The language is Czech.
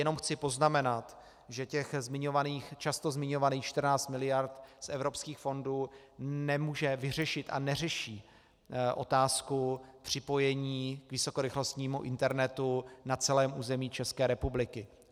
Jenom chci poznamenat, že těch často zmiňovaných 14 miliard z evropských fondů nemůže vyřešit a neřeší otázku připojení k vysokorychlostnímu internetu na celém území České republiky.